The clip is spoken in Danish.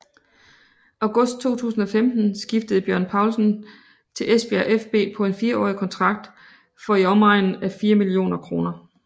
August 2015 skiftede Bjørn Paulsen til Esbjerg fB på en 4 årig kontrakt for i omegnen af 4 millioner kroner